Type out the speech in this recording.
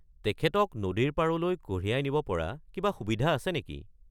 তেখেতক নদীৰ পাৰলৈ কঢ়িয়াই নিব পৰা কিবা সুবিধা আছে নেকি?